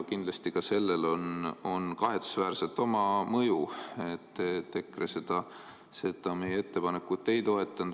Kindlasti ka sellel on kahetsusväärselt oma mõju, et EKRE seda meie ettepanekut ei toetanud.